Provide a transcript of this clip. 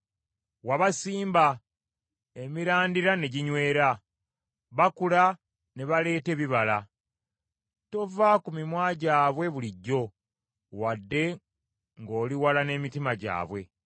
Wabasimba, emirandira ne ginywera, bakula ne baleeta ebibala. Tova ku mimwa gyabwe bulijjo wadde ng’oliwala n’emitima gyabwe.